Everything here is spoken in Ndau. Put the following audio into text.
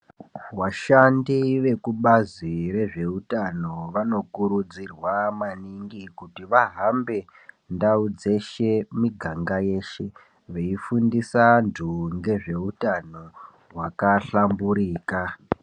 Vashandi vekubazi rezveutano vanokurudzirwa maningi kuti vahambe ndau dzeshe, miganga yeshe veifundisa vanhu ngezveutano hwakashamburika